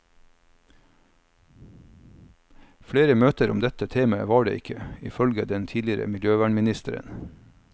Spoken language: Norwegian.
Flere møter om dette temaet var det ikke, ifølge den tidligere miljøvernministeren.